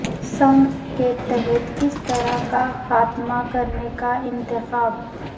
sink کے تحت کس طرح کا خاتمہ کرنے کا انتخاب